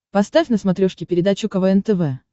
поставь на смотрешке передачу квн тв